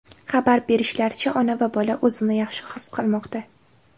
Xabar berishlaricha, ona va bola o‘zini yaxshi his qilmoqda.